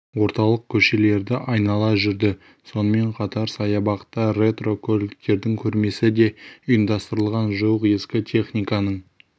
орталық көшелерді айнала жүрді сонымен қатар саябақта ретро көліктердің көрмесі де ұйымдастырылған жуық ескі техниканың